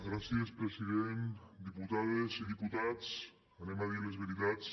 gràcies president diputades i diputats direm les veritats